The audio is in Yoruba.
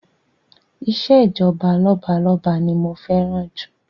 Ìṣèjọba lọ́balọ́ba ni mo fẹ́ràn jù